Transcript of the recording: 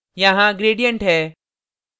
यहाँ gradients है